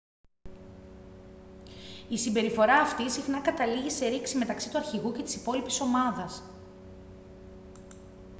η συμπεριφορά αυτή συχνά καταλήγει σε ρήξη μεταξύ του αρχηγού και της υπόλοιπης ομάδας